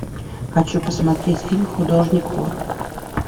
хочу посмотреть фильм художник вор